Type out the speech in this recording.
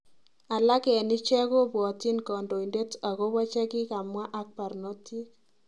Alak en ichek kopwatyin kandoindet agopo chekikamwa ak barnotik